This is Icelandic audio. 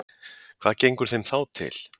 Hvað gengur þeim þá til?